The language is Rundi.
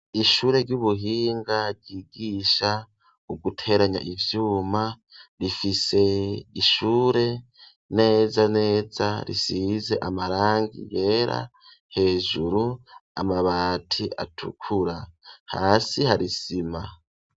Ishure ry'ubuhinga ryigisha uguteranya ivyuma, rifise ishure neza neza risize amarangi yera, hejuru amabati atukura. Hasi hari isima.